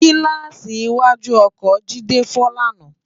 Gilàsí iwàjú òkò Jide fò làná